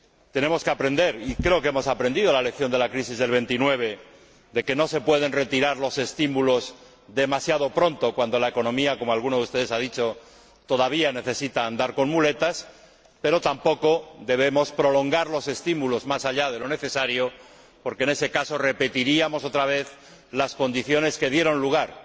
Tenemos que aprender —y creo que hemos aprendido— la lección de la crisis del veintinueve de que no se pueden retirar los estímulos demasiado pronto, cuando la economía, como alguno de ustedes ha dicho, todavía necesita andar con muletas, pero tampoco debemos prolongar los estímulos más allá de lo necesario, porque, en ese caso, repetiríamos otra vez las condiciones que dieron lugar